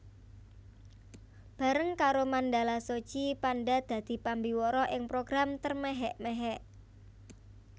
Bareng karo Mandala Soji Panda dadi pambiwara ing program Termehek mehek